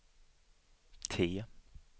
T